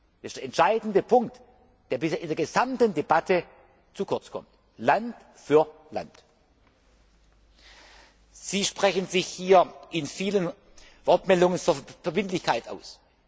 Das ist der entscheidende Punkt, der bisher in der gesamten Debatte zu kurz kommt, Land für Land. Sie sprechen sich hier in vielen Wortmeldungen für Verbindlichkeit